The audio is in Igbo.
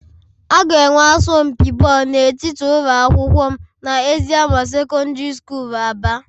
A ga-enwe asọmpi bọọlụ n'etiti ụlọ akwụkwọ m na eziama secondary school Aba